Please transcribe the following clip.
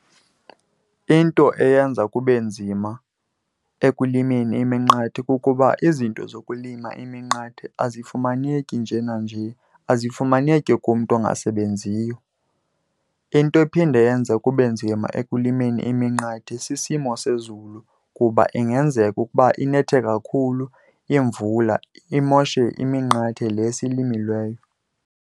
Into eyenza kube nzima ekulimeni iminqathe kukuba izinto zokulima iminqathe azifumaneki nje nanje, azifumaneki kumntu ongasebenziyo. Into ephinde yenze kube nzima ekulimeni iminqathe sisimo sezulu kuba ingenzeka ukuba inethe kakhulu imvula imoshe iminqathe le siyilimileyo.